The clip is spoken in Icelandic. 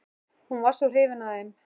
Hún var svo hrifin af þeim.